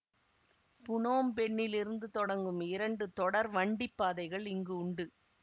புனோம் பென்னில் இருந்து தொடங்கும் இரண்டு தொடர் வண்டி பாதைகள் இங்கு உண்டு